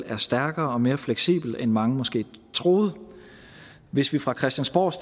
er stærkere og mere fleksibel end mange måske troede hvis vi fra christiansborgs